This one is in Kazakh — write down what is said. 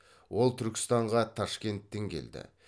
ол түркістанға ташкенттен келді